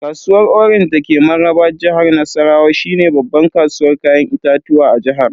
Kasuwar orange dake mararraba jihar Nassarawa shine babban kasuwar Kayan itatuwa a jihar.